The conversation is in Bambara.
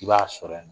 I b'a sɔrɔ yen nɔ